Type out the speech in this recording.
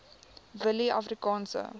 willieafrikaanse